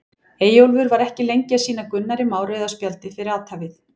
Eyjólfur var ekki lengi að sýna Gunnari Má rauða spjaldið fyrir athæfið.